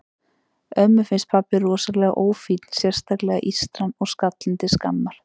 Ömmu finnst pabbi rosalega ófínn, sérstaklega ístran og skallinn til skammar.